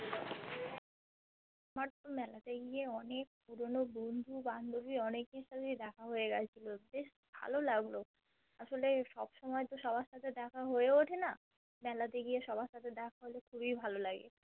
But মেলাতে গিয়ে অনেক পুরোনো বন্ধু বান্ধবী অনেকএর সাথেই দেখা হয়ে গেছিলো বেশ ভালো লাগলো আসলে সবসময় তো সবারসাথে দেখা হয়ে ওঠে না মেলাতে গিয়ে সবার সাথে দেখা হলে খুবই ভালো লাগে